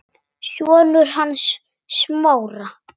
Sonur hans Smára.